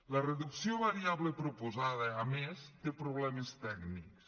la reducció variable proposada a més té problemes tècnics